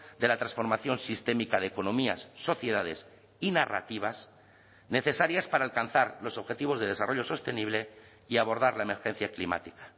de la transformación sistémica de economías sociedades y narrativas necesarias para alcanzar los objetivos de desarrollo sostenible y abordar la emergencia climática